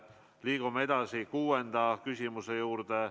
Liigume edasi kuuenda küsimuse juurde.